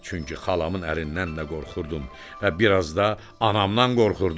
Çünki xalamın əlindən də qorxurdum və bir az da anamdan qorxurdum.